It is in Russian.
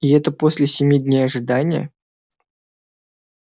и это после семи дней ожидания